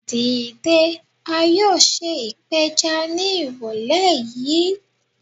Dide, a yoo ṣe ipeja ni irọlẹ yii